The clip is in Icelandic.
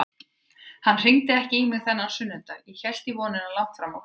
Hann hringdi ekki í mig þennan sunnudag, ég hélt í vonina langt fram á kvöld.